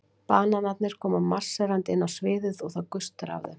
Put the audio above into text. Bananarnir koma marserndi inn á sviðið og það gustar af þeim.